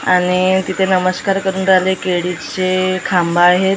आणि तिथे नमस्कार करून राहिले केळीचे खांब आहेत .